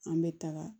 An bɛ taga